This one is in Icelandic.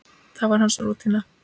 Það var hans rútína.